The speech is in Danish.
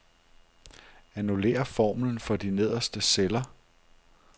Annullér formlen for de nederste celler.